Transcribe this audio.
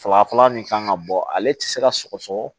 Saba fɔlɔ min kan ka bɔ ale tɛ se ka sɔgɔsɔgɔ